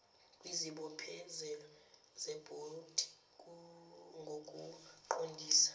kwizibophezelo zebhodi ngokuqondisa